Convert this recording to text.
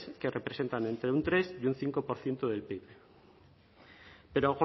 que representan entre un tres y un cinco por ciento del pib pero